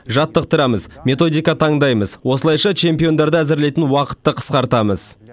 жаттықтырамыз методика таңдаймыз осылайша чемпиондарды әзірлейтін уақытты қысқартамыз